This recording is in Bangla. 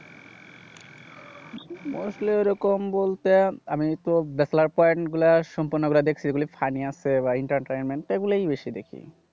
mostly ওরকম বলতে আমিতো point গুলা সম্পূর্ণ প্রায় দেখছি। এগুলো funny আছে বা entertainment এগুলাই বেশি দেখি।